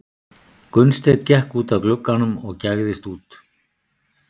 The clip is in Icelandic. Gunnsteinn gekk út að glugganum og gægðist út.